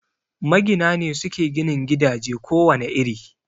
Magina ne suke ginin gidaje ko wane iri